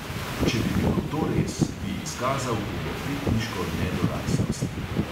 Če bi bilo to res, bi izkazal pubertetniško nedoraslost.